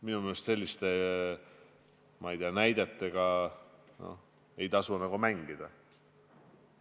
Minu meelest selliste, ma ei tea, näidetega ei tasu mängida.